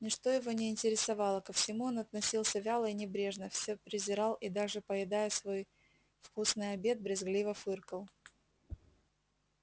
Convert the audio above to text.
ничто его не интересовало ко всему он относился вяло и небрежно всё презирал и даже поедая свой вкусный обед брезгливо фыркал